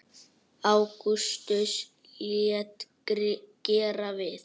Ágústus lét gera við